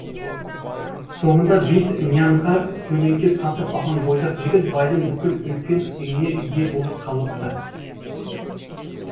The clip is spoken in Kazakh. соңында бес нянға көлеңке сатып алған бойдақ жігіт байдың бүкіл үлкен үйіне ие болып қалыпты